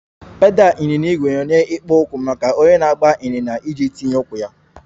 Pedal ịnyịnya ígwè na-enye ikpo okwu maka onye na-agba ịnyịnya iji tinye ụkwụ ya